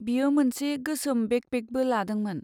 बियो मोनसे गोसोम बेकपेकबो लादोंमोन।